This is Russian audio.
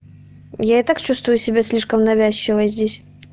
я и так чувствую себя слишком навязчиво здесь